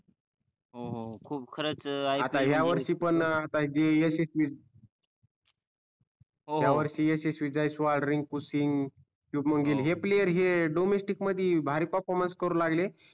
हो खूप खरच IPL मध्ये आता हया वर्षी पण आता जे यशस्वि जयस्वाल हया वर्षी यशस्वि जयस्वाल रिंकू सिंग सुमन गिल हे player हे domestic मधी भारी perfromance करू लागले.